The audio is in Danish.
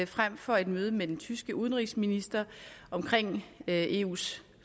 frem for et møde med den tyske udenrigsminister om eus